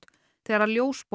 þegar